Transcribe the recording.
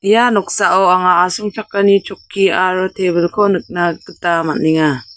ia noksao anga asongchakani chokki aro tebil-ko nikna gita man·enga.